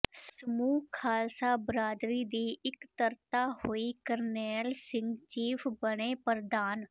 ਸਮੂਹ ਖ਼ਾਲਸਾ ਬਰਾਦਰੀ ਦੀ ਇਕੱਤਰਤਾ ਹੋਈ ਕਰਨੈਲ ਸਿੰਘ ਚੀਫ ਬਣੇ ਪ੍ਰਧਾਨ